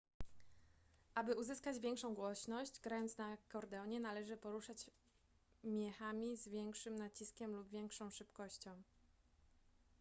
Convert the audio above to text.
aby uzyskać większą głośność grając na akordeonie należy poruszać miechami z większym naciskiem lub większą szybkością